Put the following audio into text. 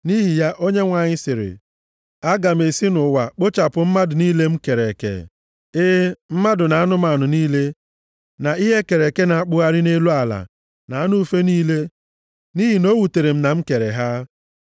Nʼihi ya, Onyenwe anyị sịrị, “Aga m esi nʼụwa kpochapụ mmadụ niile m kere eke. E e, mmadụ na anụmanụ niile, na ihe e kere eke na-akpụgharị nʼelu ala, na anụ ufe niile. Nʼihi na o wutere m na m kere ha.”